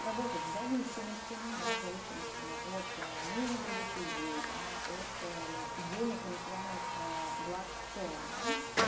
работать в зависимостями да в зависимостями от ээ мнения других людей да от ээ денег и материальных ээ благ в целом да